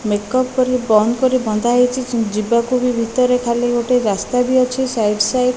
makeup କରି ବନ୍ଦ କରି ବନ୍ଧା ହେଇଚି ଯି ଯିବାକୁ ବି ଭିତରେ ଖାଲି ଗୋଟେ ରାସ୍ତା ବି ଅଛି ସାଇଟ୍ ସାଇଟ୍ --